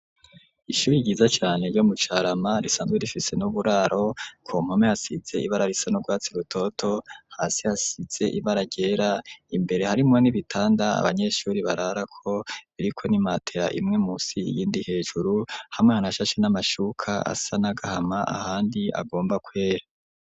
Ishuri ryiza cane ryo mu Carama, risanzwe rifise n'uburaro, ku mpome hasize ibara risa n'urwatsi rutoto, hasi hasize ibara ryera, imbere harimwo n'ibitanda abanyeshuri bararako, biriko n'imatera imwe musi iyindi hejuru, hamwe hanashashe n'amashuka asa n'agahama, ahandi agomba kwera.